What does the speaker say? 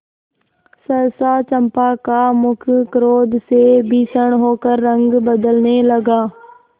सहसा चंपा का मुख क्रोध से भीषण होकर रंग बदलने लगा